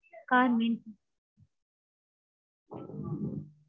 car neat.